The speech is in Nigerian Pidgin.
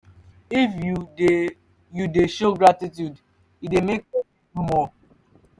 if you de you de show gratitude e dey make persin do more